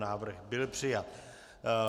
Návrh byl přijat.